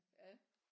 Ja